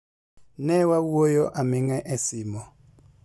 Ne wawuoyo aming'a e simo.